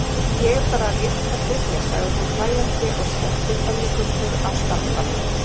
Ég er bara rétt að byrja sagði hún hlæjandi og skellti pönnuköku á staflann.